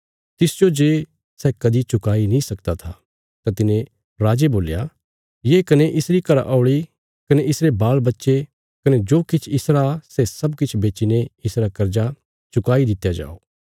तिसजो जे सै कदीं चुकाई नीं सकदा था तां तिने राजे बोल्या ये कने इसरी घरा औल़ी कने इसरे बालबच्चे कने जो किछ इसरा सै सब किछ बेच्चीने इसरा कर्जा चुकाई दित्या जाओ